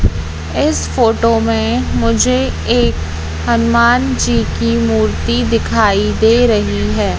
इस फोटो में मुझे एक हनुमान जी की मूर्ति दिखाई दे रही है।